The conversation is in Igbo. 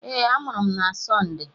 Ee, amụrụ m na Sọnde.